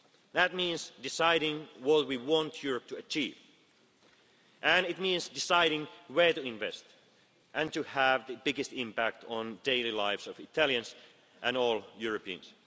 That means deciding what we want Europe to achieve and it means deciding where to invest and to have the biggest impact on the daily lives of Italians and all Europeans.